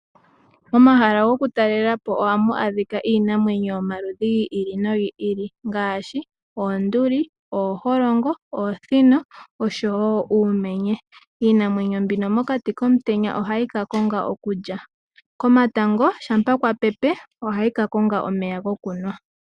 Momahala gokutalelapo ohamu adhika iinamwenyo yomaludhi gi ili nogi ili ngaashi: oonduli ,ooholongo, oosino osho wo uumenye. Iinamwenyo mbino mokati komutenya ohayi ka konga okulya. Komatango shampa kwa pepe ohayi ka konga omeya gokunwa.